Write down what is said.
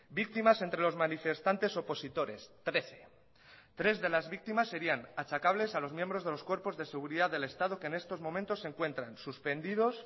víctimas entre los manifestantes opositores trece tres de las víctimas serían achacables a los miembros de los cuerpos de seguridad del estado que en estos momentos se encuentran suspendidos